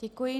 Děkuji.